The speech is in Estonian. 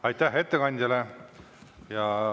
Aitäh ettekandjale!